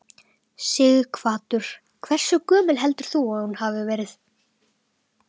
Sighvatur: Hversu gömul heldur þú að hún hafi verið?